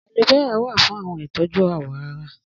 Aloe vera wa fún àwọn ìtọ́jú àwọ̀ ará